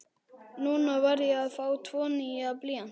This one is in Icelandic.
Núna var ég að fá tvo nýja blýanta.